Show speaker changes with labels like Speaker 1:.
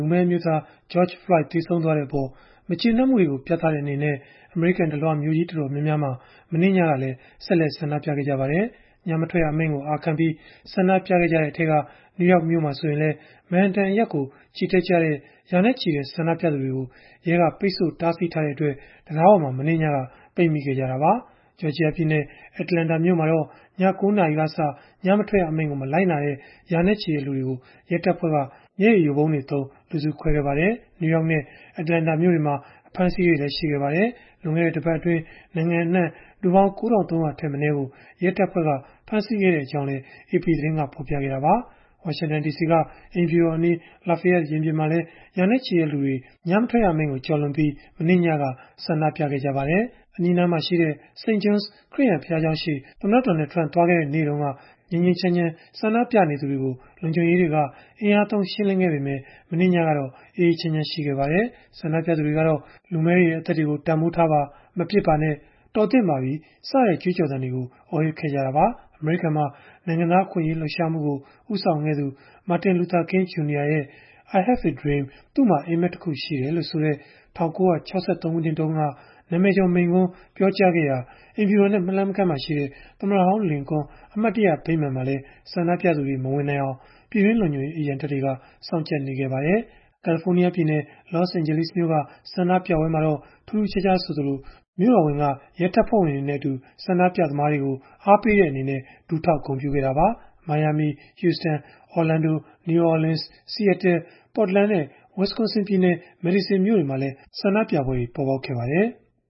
Speaker 1: ူမည်းအမျိုးသား George Floyd သေဆုံးသွားတဲ့အပေါ် မကျေနပ်မှုကို ပြသတဲ့အနေနဲ့ အမေရိကန်တလွှား မြို့ကြီးတော်တော်များများမှာ မနေ့ညကလည်း ဆက်လက် ဆန္ဒပြခဲ့ကြပါတယ်။ ညမထွက်ရအမိန့်ကို အာခံပြီး ဆန္ဒပြခဲ့ကြတဲ့အထဲက နယူးယောက်မြို့မှာ ဆိုရင်လည်း Manhattan အရပ်ကို ချီတက်ကြတဲ့ ရာနဲ့ချီတဲ့ ဆန္ဒပြသူတွေကို ရဲက ပိတ်ဆို့တားဆီးထားတဲ့ အတွက် တံတားပေါ်မှာ မနေ့ညက ပိတ်မိခဲ့ကြတာပါ။ Georgia ပြည်နယ် Atlanta မြို့မှာတော့ ည ၉ နာရီကစ ညမထွက်ရအမိန့်ကို မလိုက်နာကြတဲ့ ရာနဲ့ချီတဲ့လူတွေကို ရဲတပ်ဖွဲ့က မျက်ရည်ယိုဗုံးတွေသုံး လူစုခွဲခဲ့ပါတယ်။ နယူးယောက်နဲ့ Atlanta မြို့တွေမှာ အဖမ်းအဆီးတွေလည်း ရှိခဲ့ပါတယ်။ လွန်ခဲ့တဲ့ တပတ်အတွင်း နိုင်ငံအနှံ့မှာ လူပေါင်း ၉,၃၀၀ ထက်မနည်းကို ရဲတပ်ဖွဲ့က ဖမ်းဆီးခဲ့ကြောင်းလည်း AP သတင်းက ဖော်ပြခဲ့တာပါ။ ဝါရှင်တန်ဒီစီက အိမ်ဖြူတော်အနီး Lafayette ရင်ပြင်မှာလည်း ရာနဲ့ချီတဲ့လူတွေ ညမထွက်ရအမိန့်ကို ကျော်လွန်ပြီး မနေ့ညက ဆန္ဒပြခဲ့ကြပါတယ်။ အနီးအနားမှာရှိတဲ့ St. John’s ခရစ်ယာန်ဘုရားကျောင်းရှေ့ သမ္မတ Donald Trump သွားခဲ့တဲ့ နေ့တုန်းက ငြိမ်းငြိမ်းချမ်းချမ်း ဆန္ဒပြနေသူတွေကို လုံခြုံရေးတွေက အင်အားသုံးရှင်းလင်းခဲ့ပေမဲ့ မနေ့ညကတော့ အေးအေးချမ်းချမ်း ရှိခဲ့ပါတယ်။ ဆန္ဒပြသူတွေကတော့ လူမည်းတွေရဲ့ အသက်တွေကို တန်ဘိုးထားပါ၊ မပစ်ပါနဲ့၊ တော်သင့်ပါပြီ စတဲ့ကြွေးကြော်သံတွေကို အော်ဟစ်ခဲ့ကြတာပါ။ အမေရိကန်မှာ နိုင်ငံသားအခွင့်အရေး လှုပ်ရှားမှုကို ဦးဆောင်ခဲ့သူ Martin Luther King Jr. ရဲ့ I Have a Dream ကျနော့်မှာအိပ်မက်တခု ရှိတယ်လို့ဆိုတဲ့ ၁၉၆၃ ခုနှစ်တုန်းက နာမည်ကျော်မိန့်ခွန်း ပြောကြားခဲ့ရာ အိမ်ဖြူတော်နဲ့ မလှမ်းမကမ်းမှာရှိတဲ့ သမ္မတဟောင်းလင်ကွန်း အမှတ်တရဗိမာန်မှာလည်း ဆန္ဒပြသူတွေ မဝင်နိုင်အောင် ပြည်တွင်းလုံခြုံရေး အရန်တပ်တွေက စောင့်ကြပ်နေခဲ့ကြပါတယ်။ California ပြည်နယ် Los Angeles မြို့က ဆန္ဒပြပွဲမှာတော့ ထူးထူးခြားခြားဆိုသလို မြို့တော်ဝန် Eric Garcetti က ရဲတပ်ဖွဲ့ဝင်တွေနဲ့အတူ ဆန္ဒပြသမားတွေကို အားပေးတဲ့အနေနဲ့ ဒူးထောက်ဂုဏ်ပြုခဲ့တာပါ။ Miami, Houston, Orlando, New Orleans, Seattle, Portland နဲ့ Wisconsin ပြည်နယ် Madison မြို့တွေမှာလည်း ဆန္ဒပြပွဲတွေ ပေါ်ပေါက်ခဲ့ပါတယ်။